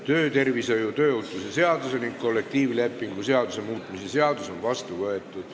Töötervishoiu ja tööohutuse seaduse ning kollektiivlepingu seaduse muutmise seadus on vastu võetud.